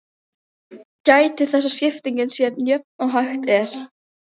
Gætið þess að skiptingin sé eins jöfn og hægt er.